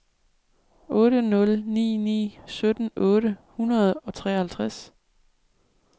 otte nul ni ni sytten otte hundrede og treoghalvtreds